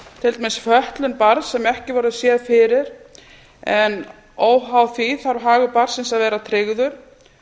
til dæmis fötlun barns sem ekki voru séð fyrir en óháð því þarf hagur barnsins að vera tryggður